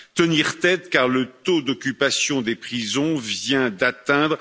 Tenir tête car le taux d'occupation des prisons vient d'atteindre